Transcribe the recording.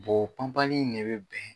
o panpanli in ne bɛ bɛn